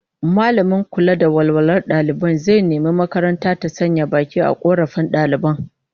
Mallamin kula da walwalar dalibai zai nemi makaranta ta sanya baki a korafin daliban